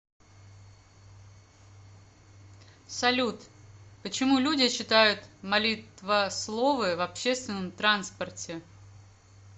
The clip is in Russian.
салют почему люди читают молитвословы в общественном транспорте